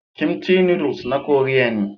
Kimchi noodles na Koriya ne.